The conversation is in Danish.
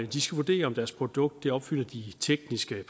de skal vurdere om deres produkt opfylder de tekniske